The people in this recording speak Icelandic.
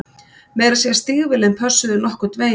Meira að segja stígvélin pössuðu nokkurn veginn